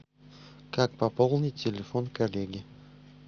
как пополнить телефон коллеги